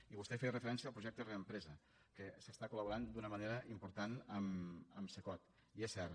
i vostè feia referència al projecte reempresa que s’està col·laborant d’una manera important amb cecot i és cert